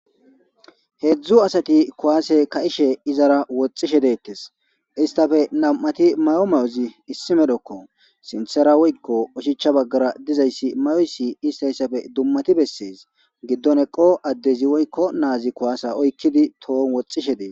heedzdzu asati kuwaase ka7ishe izara woxishe deettes istafe nam7ati mayo mayozi issimedokko sinthera woykko oshicha baggara dizayssi mayoyssi istayssafe dummati bessees giddon eqo addezi woykko naazi kuwase oykkidi tohon woxishe dee